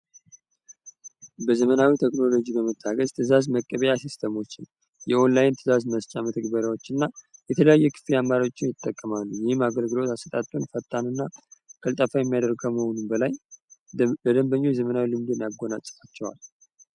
በዘመናዊ ቴክኖሎጂ በመታገዝ ትዛዝ መቀቢያ ሲስተሞች የኦንላይን ትዛዝ መስጫ መተግበሪያዎች እና የተለያየ ክፍያ መፈጽሚያዎችን ይጠቀማሉ ይህም አገልግሎት አሰጣጡን ፈጣን እና ቀልጠፋ የሚያደርግ ከመሆኑም በላይ ለደድንበኞቹ የዘመናዊ ልምድን ያጎናፀፋቸዋል።